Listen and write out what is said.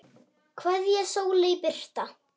Kveðja, Sóley Birta.